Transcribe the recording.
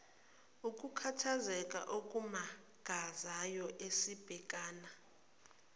ukukhathazeka okumangazayo esibhekana